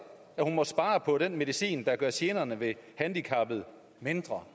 at hun må spare på den medicin der gør generne ved handicappet mindre